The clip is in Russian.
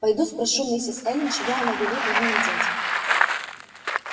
пойду спрошу мисс эллин чего она велит вам надеть